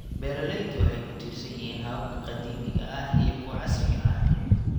Beeraleydu waxay ku tiirsan yihiin hababka qadiimiga ah iyo kuwa casriga ah.